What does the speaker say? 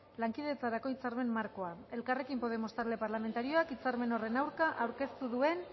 lankidetzarako hitzarmen markoa elkarrekin podemos talde parlamentarioak hitzarmen horren aurka aurkeztu duen